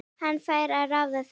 Hann fær að ráða því.